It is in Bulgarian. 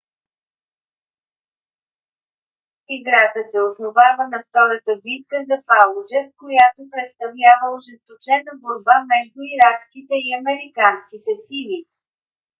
играта се основава на втората битка за фалуджа която представлява ожесточена борба между иракските и американските сили